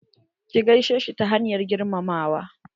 Ki gaishe shi ta hanyar girmamawa.